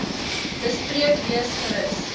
bespreek lees gerus